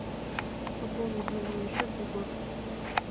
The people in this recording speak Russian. пополнить мобильный счет егор